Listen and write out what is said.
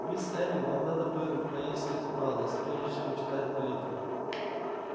мисс эллин вам бы надо поесть хоть малость прежде чем читать молитву